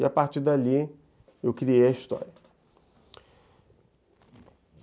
E a partir dali, eu criei a história.